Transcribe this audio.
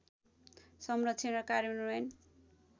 संरक्षण र कार्यान्वयन